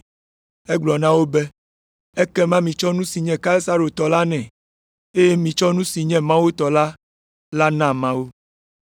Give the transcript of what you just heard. Egblɔ na wo be, “Ekema mitsɔ nu si nye Kaisaro tɔ la nɛ, eye mitsɔ nu si nye Mawu tɔ la na Mawu!”